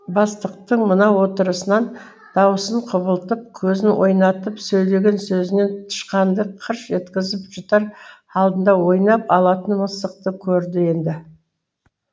бастықтың мына отырысынан даусын құбылтып көзін ойнатып сөйлеген сөзінен тышқанды қырш еткізіп жұтар алдында ойнап алатын мысықты көрді енді